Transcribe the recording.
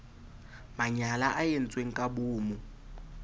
manyala a entsweng ka boomo